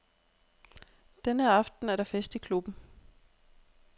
Denne aften er der fest i klubben.